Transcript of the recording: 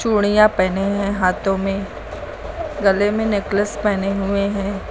उड़ियां पहने हैं हाथों में गले में नेकलेस पहने हुए हैं।